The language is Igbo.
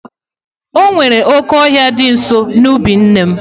Onwere oke ohia di nso n'ubi nne m.